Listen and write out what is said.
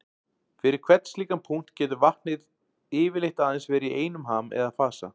Fyrir hvern slíkan punkt getur vatnið getur yfirleitt aðeins verið í einum ham eða fasa.